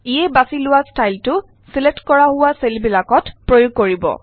ইয়ে বাচি লোৱা ষ্টাইলটো ছিলেক্ট কৰা হোৱা চেলবিলাকত প্ৰয়োগ কৰিব